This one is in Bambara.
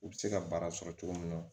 U bɛ se ka baara sɔrɔ cogo min na